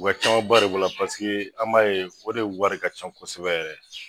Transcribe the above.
O ka caman ba de b'o la paseke an m'a ye o de ye wari ka ca kosɛbɛ yɛrɛ yɛrɛ